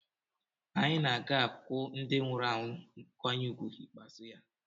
Anyị na a ga-akwụ ndị nwụrụ anwụ nkwanye ùgwù ikpeazụ ya.